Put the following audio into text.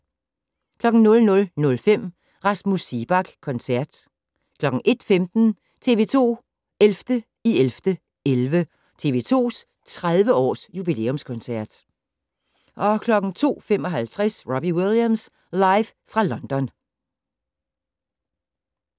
00:05: Rasmus Seebach Koncert 01:15: TV-2 11.11.11 - TV-2's 30-års-jubilæumskoncert 02:55: Robbie Williams live fra London